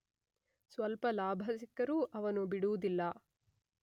ಸ್ವಲ್ಪ ಲಾಭ ಸಿಕ್ಕರೂ ಅವನು ಬಿಡುವುದಿಲ್ಲ.